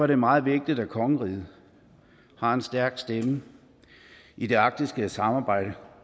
det meget vigtigt at kongeriget har en stærk stemme i det arktiske samarbejde